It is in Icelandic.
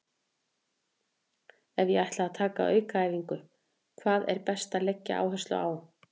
Ef ég ætla að taka aukaæfingu, hvað er best að leggja áherslu á?